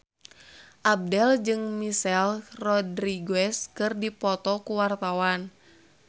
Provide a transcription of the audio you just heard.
Abdel jeung Michelle Rodriguez keur dipoto ku wartawan